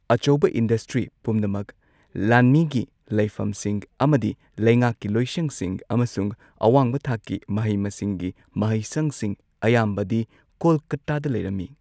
ꯑꯆꯧꯕ ꯏꯟꯗꯁꯇ꯭ꯔꯤ ꯄꯨꯝꯅꯃꯛ, ꯂꯥꯟꯃꯤꯒꯤ ꯂꯩꯐꯝꯁꯤꯡ ꯑꯃꯗꯤ ꯂꯩꯉꯥꯛꯀꯤ ꯂꯣꯏꯁꯪꯁꯤꯡ ꯑꯃꯁꯨꯡ ꯑꯋꯥꯡꯕ ꯊꯥꯛꯀꯤ ꯃꯍꯩ ꯃꯁꯤꯡꯒꯤ ꯃꯍꯩꯁꯪꯁꯤꯡ ꯑꯌꯥꯝꯕꯗꯤ ꯀꯣꯜꯀꯥꯇꯥꯗ ꯂꯩꯔꯝꯃꯤ꯫